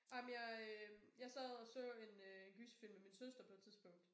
Ej men jeg øh jeg sad og så en øh gyserfilm med min søster på et tidspunkt